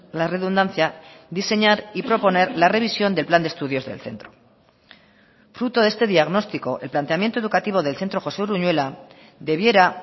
la redundancia diseñar y proponer la revisión del plan de estudios del centro fruto de este diagnóstico el planteamiento educativo del centro josé uruñuela debiera